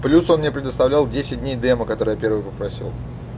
плюс он мне предоставлял десять дней демо который я первый попросил